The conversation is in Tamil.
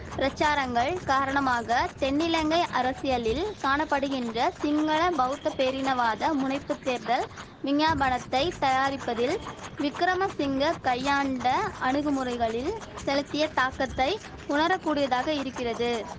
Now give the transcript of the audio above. பிரசாரங்கள் காரணமாக தென்னிலங்கை அரசியலில் காண படுகின்ற சிங்கள பௌத்த பேரினவாத முனைப்புத் தேர்தல் விஞ்ஞாபனத்தை தயாரிப்பதில் விக்கிரமசிங்க கையாண்ட அணுகுமுறைகளில் செலுத்திய தாக்கத்தை உணரக் கூடியதாக இரிக்கிறது